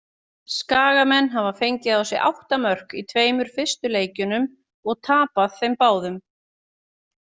Skagamenn hafa fengið á sig átta mörk í tveimur fyrstu leikjunum og tapað þeim báðum.